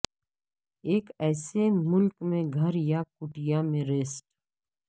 ایک ایسے ملک میں گھر یا کٹیا میں ریسٹ